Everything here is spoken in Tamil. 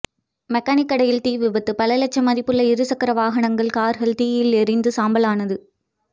மெக்கானிக் கடையில் தீவிபத்து பல லட்சம் மதிப்புள்ள இருசக்கர வாகனங்கள் கார்கள் தீயில் எரிந்து சாம்பல் ஆனது